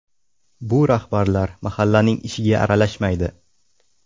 Bu rahbarlar mahallaning ishiga aralashmaydi.